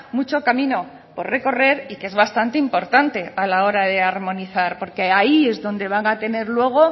mucho camino por recorrer y que es bastante importante a la hora de armonizar porque ahí es donde van a tener luego